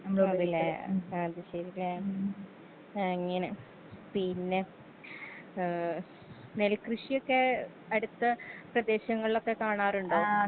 അതേലെ അത് ശെരിലേ അങ്ങിനെ പിന്നെ ഏ നെൽകൃഷിയൊക്കെ അടുത്ത പ്രദേശങ്ങളിലൊക്കെ കാണാറുണ്ടോ.